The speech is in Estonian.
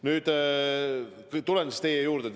Nüüd, tuleme siis teie juurde.